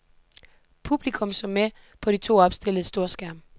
Publikum så med på de to opstillede storskærme.